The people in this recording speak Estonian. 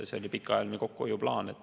See oli pikaajaline kokkuhoiuplaan.